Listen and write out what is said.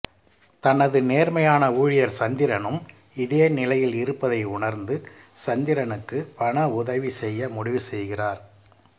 தனது நேர்மையான ஊழியர் சந்திரனும் இதே நிலையில் இருப்பதை உணர்ந்து சந்திரனுக்கு பண உதவி செய்ய முடிவு செய்கிறார்